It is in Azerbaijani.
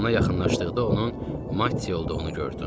Yanına yaxınlaşdıqda onun Mattia olduğunu gördüm.